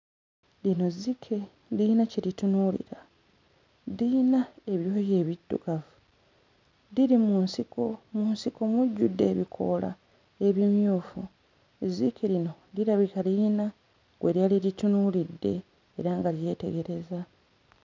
Lino zzike liyina kye litunuulira. Diyina ebyoya ebiddugavu. Diri mu nsiko mu nsiko mujjudde ebikoola ebimyufu. Ezzike lino dirabika liyina gwe lyali litunuulidde era nga lyetegereza.